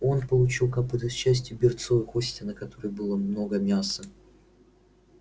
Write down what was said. он получил копыто с частью берцовой кости на которой было много мяса